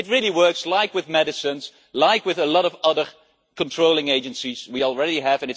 It works like with medicines and like with a lot of other controlling agencies we already have.